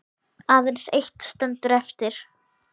Aðeins eitt stendur eftir.